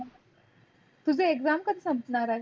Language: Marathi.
तुझे exam कधी संपणार आहे?